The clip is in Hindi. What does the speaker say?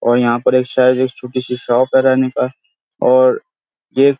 और यहाँ पे एक शायद छोटी-सी शॉप है रहने का और एक--